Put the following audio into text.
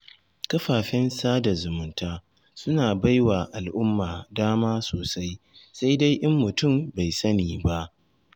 Kafafen sada zumunta suna baiwa al'umma dama sosai, sai dai in mutum bai sani ba.